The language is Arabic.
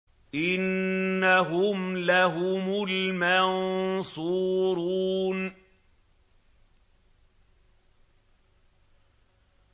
إِنَّهُمْ لَهُمُ الْمَنصُورُونَ